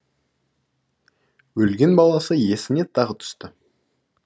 өлген баласы есіне тағы түсті